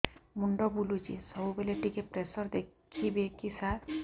ମୁଣ୍ଡ ବୁଲୁଚି ସବୁବେଳେ ଟିକେ ପ୍ରେସର ଦେଖିବେ କି ସାର